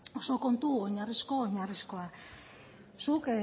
oso kontu oinarrizko oinarrizkoa zuk